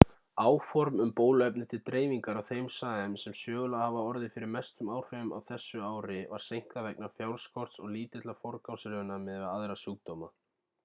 áform um bóluefni til dreifingar á þeim svæðum sem sögulega hafa orðið fyrir mestum áhrifum á þessu ári var seinkað vegna fjárskorts og lítillar forgangsröðunar miðað við aðra sjúkdóma